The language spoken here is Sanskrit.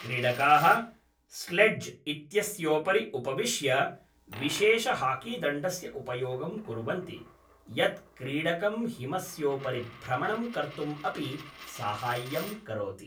क्रीडकाः स्लेड्ज् इत्यस्योपरि उपविश्य विशेषहाकीदण्डस्य उपयोगं कुर्वन्ति, यत् क्रीडकं हिमस्योपरि भ्रमणं कर्तुम् अपि साहाय्यं करोति।